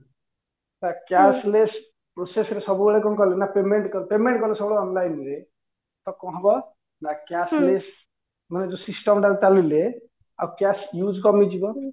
ତା cashless process ରେ ସବୁବେଳେ କଣ କଲେ ନା payment କଲେ payment କଲେ ସବୁବେଳେ online ରେ ତ କଣ ହବ ନା cashless ମାନେ ଯୋ system ଟା ରେ ଚାଲିଲେ ଆଉ cash use କମିଯିବ